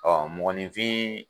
mɔgɔninfin